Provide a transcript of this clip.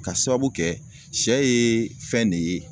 K'a sababu kɛ sɛ ye fɛn ne ye